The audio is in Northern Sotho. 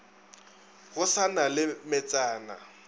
go sa na le metsana